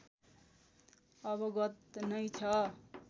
अवगत नै छ